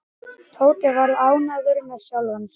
Tóti var ánægður með sjálfan sig.